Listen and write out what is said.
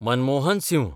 Manmohan Singh